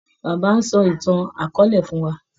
Bàbá ń sọ ìtàn akọọ́lẹ̀ fún wà.